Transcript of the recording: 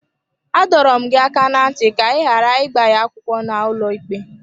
Adọrọ m gị aka ná ntị ka ị ghara ịgba ya akwụkwọ n’ụlọikpe!